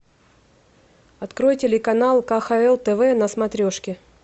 открой телеканал кхл тв на смотрешке